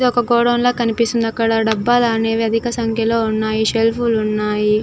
ఇది ఒక గోడౌన్ లాగా కనిపిస్తుంది.అక్కడ డబ్బాలు అనేవి అధిక సంఖ్యలో ఉన్నాయి.